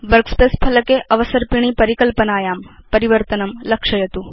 workspace फलके अवसर्पिणी परिकल्पनायां परिवर्तनं लक्षयतु